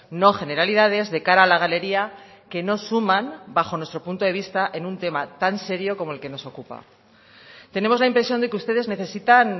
no generalidades de cara a la galería que no suman bajo nuestro punto de vista en un tema tan serio como el que nos ocupa tenemos la impresión de que ustedes necesitan